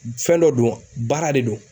fɛn dɔ don baara de don